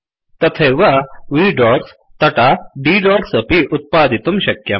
तथैव V dotsडोट्स् तथा D dotsडोट्स् अपि उत्पादितुं शक्यम्